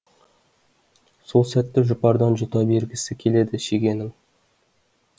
сол тәтті жұпардан жұта бергісі келеді шегенің